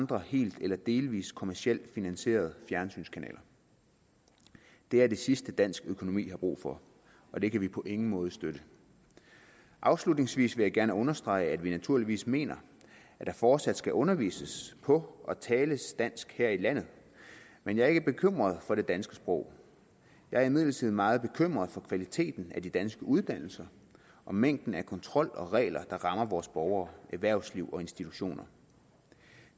på helt eller delvis kommercielt finansierede fjernsynskanaler det er det sidste dansk økonomi har brug for og det kan vi på ingen måde støtte afslutningsvis vil jeg gerne understrege at vi naturligvis mener at der fortsat skal undervises på og tales dansk her i landet men jeg er ikke bekymret for det danske sprog jeg er imidlertid meget bekymret for kvaliteten af de danske uddannelser og mængden af kontrol og regler der rammer vores borgere erhvervsliv og institutioner